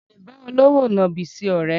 Mi ò lè bá olówò nàbì ṣe ọ̀rẹ́